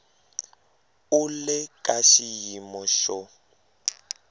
u le ka xiyimo xo